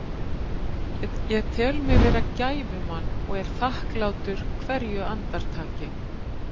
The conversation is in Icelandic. Ég tel mig vera gæfumann og er þakklátur hverju andartaki.